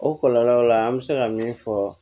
O kɔlɔlɔw la an bɛ se ka min fɔ